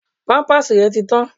Pampers rẹ ti tán.